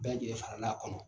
Bɛɛ lajɛlen faral'a kɔnɔ.